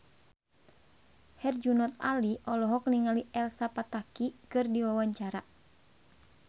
Herjunot Ali olohok ningali Elsa Pataky keur diwawancara